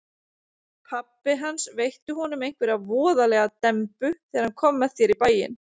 Pabbi hans veitti honum einhverja voðalega dembu þegar hann kom með þér í bæinn.